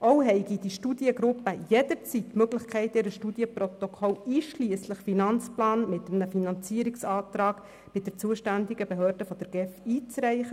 Auch hätten die Studiengruppen jederzeit die Möglichkeit, ihr Studienprotokoll einschliesslich Finanzplan mit einem Finanzierungsantrag bei der zuständigen Behörde der GEF einzureichen.